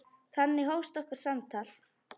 Þannig hófst okkar samtal.